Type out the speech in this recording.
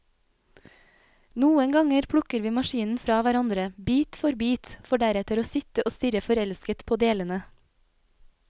Noen ganger plukker vi maskinen fra hverandre, bit for bit, for deretter å sitte og stirre forelsket på delene.